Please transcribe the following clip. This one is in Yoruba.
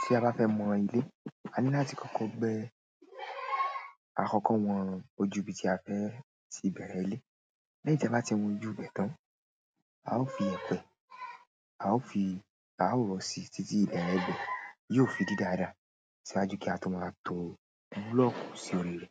Ti a bá fẹ́ mọ ilé, a ní láti kọ́kọ́ gbẹ́ àkọ́kọ́ wọn ojú ibi tí a fẹ́ tí bẹ̀rẹ̀ ilé. Lẹ́yìn tí a bá ti wón ojú ìbẹ̀ tán, a ó fi èpè, a ó fi, a ó rọ́ sí títí ìbẹ̀rẹ̀ ìgbẹ́. Yóò fi di dáadáa síwájú kí a tó máa tó búlọ̀kù sí orí rẹ̀.